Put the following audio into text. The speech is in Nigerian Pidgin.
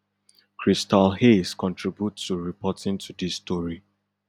christal hayes contribute to reporting to dis story